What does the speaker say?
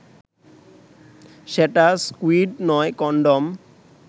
সেটা স্কুইড নয়, কনডম